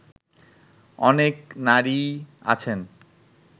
অনেক নারীই আছেন